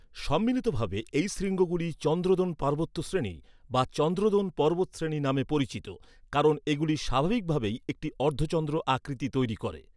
সম্মিলিতভাবে, এই শৃঙ্গগুলি চন্দ্রদ্রোণ পার্বত্য শ্রেনী বা চন্দ্রদ্রোণ পর্বতশ্রেণী নামে পরিচিত, কারণ এগুলি স্বাভাবিকভাবেই একটি অর্ধচন্দ্র আকৃতি তৈরি করে।